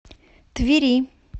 твери